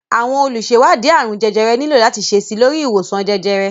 Àwọn olùṣèwádìí àrùn jẹjẹrẹ nílò láti ṣe síi lórí ìwòsàn jẹjẹrẹ